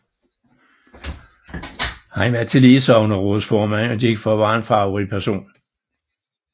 Han var tillige sognerådsformand og gik for at være en farverig person